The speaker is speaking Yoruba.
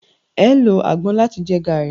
eo ló agbon làti jẹ garri.